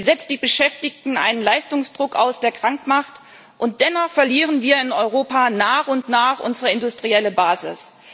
Sie setzt die Beschäftigten einem Leistungsdruck aus, der krank macht, und dennoch verlieren wir in Europa nach und nach unsere industrielle Basis.